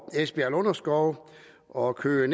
esbjerg lunderskov og køge